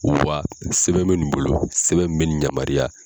Uwa sɛbɛn bɛ nin bolo sɛbɛn min bɛ nin yamaruya.